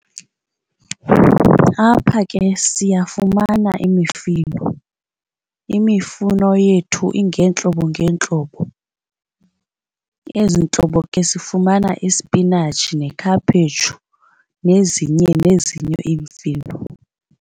Apha ke siyafumana imifino. Imifuno yethu ingeentlobo ngeentlobo. Ezi ntlobo ke sifumana ispinatshi nekhaphetshu nezinye nezinye imifino.